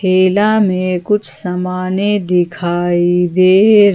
ठेला में कुछ समाने दिखाई दे--